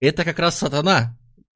это как раз сатана